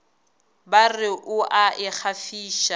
ba re o a ikgafiša